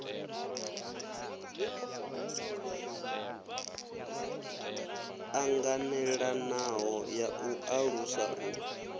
ṱanganelanaho ya u ṱalusa u